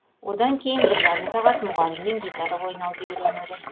одан кейін бір жарым сағат мұғаліммен гитара ойнауды үйренеді